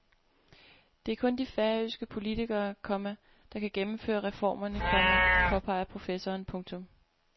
Det er kun de færøske politikere, komma der kan gennemføre reformerne, komma påpeger professoren. punktum